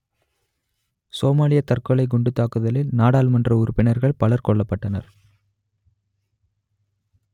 சோமாலியத் தற்கொலைக் குண்டுத்தாக்குதலில் நாடாளுமன்ற உறுப்பினர்கள் பலர் கொல்லப்பட்டனர்